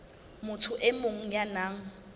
motho e mong ya nang